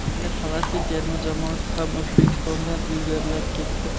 Endi Falastin terma jamoasi ham O‘zbekistondan ilgarilab ketdi.